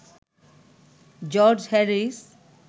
George Harris